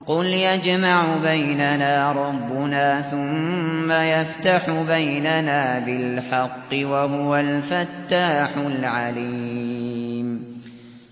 قُلْ يَجْمَعُ بَيْنَنَا رَبُّنَا ثُمَّ يَفْتَحُ بَيْنَنَا بِالْحَقِّ وَهُوَ الْفَتَّاحُ الْعَلِيمُ